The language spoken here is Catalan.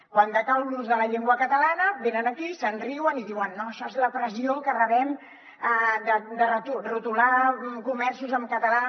quan decau l’ús de la llengua catalana venen aquí se’n riuen i diuen no això és la pressió que rebem de retolar comerços en català